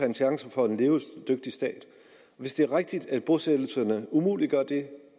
en chance for en levedygtig stat hvis det er rigtigt at bosættelserne umuliggør det